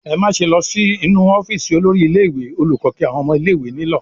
"Ẹ má ṣe lọ sí inú ọ́fíísì olórí ilé-ìwé!" Olùkọ́ kí àwọn ọmọ ilé-ìwé nílọ̀.